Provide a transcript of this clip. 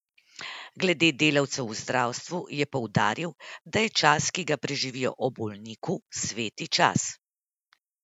Glede delavcev v zdravstvu je poudaril, da je čas, ki ga preživijo ob bolniku, sveti čas.